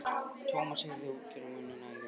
Thomas heyrði útgerðarmanninn æða út.